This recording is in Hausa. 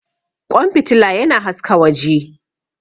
Ƙwan fitila yana haska waje.